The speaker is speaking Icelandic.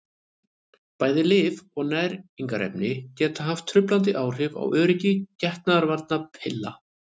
bæði lyf og næringarefni geta haft truflandi áhrif á öryggi getnaðarvarnarpilla